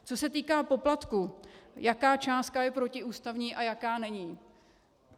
Co se týká poplatku, jaká částka je protiústavní a jaká není.